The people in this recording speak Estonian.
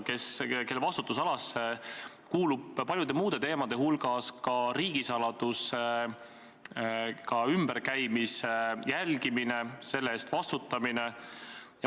Siseministri vastutusalasse kuulub paljude muude teemade hulgas riigisaladusega ümberkäimise jälgimine, selle eest vastutamine.